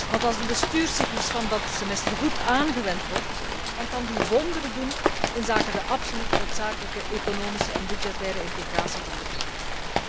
Want als de bestuurscyclus van dat semester goed aangewend wordt, dan kan die wonderen doen voor de absoluut noodzakelijke economische en budgettaire integratie van de Unie.